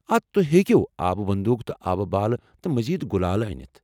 آ تُہۍ ہیٚکو آبہٕ بندوٗک تہٕ آبہٕ بالہٕ تہٕ مزید گُلالہٕ أنِتھ۔